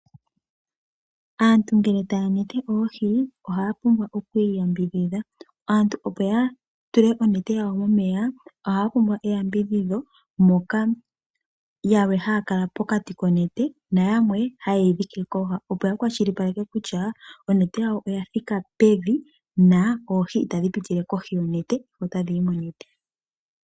Aantu ngele taanete oohi, ohaa pumbwa oku iyambidhidha. Aantu opo ya tule onete yawo momeya ohaya pumbwa eyambidhidho moka yalwe haakala pokati konete nayamwe hayeyi dhiki kooha opo ya kwashilipaleka kusha onete yawo oya thika pevi na oohi itadhi pitile kohi yonete ota dhiyi monete.